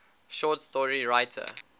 short story writer